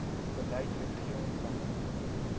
beleid wetgewing planne